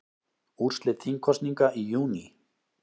Úrslit þingkosninga í júní